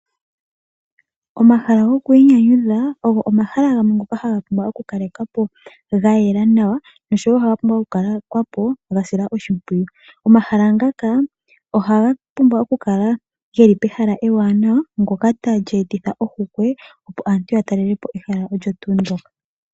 Omahala gokwiinyanyudha ogo omahala ngono haga pumbwa oku kalekwapo ga yela nawa na oga pumbwa okusilwa oshimpwiyu. Omahala ngaka oha ga pumbwa okukala pehala ewanawa ndoka tali etitha ohokwe opo aantu ya talelepo ehala olyo tuu ndjoka.